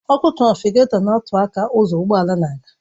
Ọkụ trafịgatọ na-atụ aka ụzọ ụgbọ ala na-aga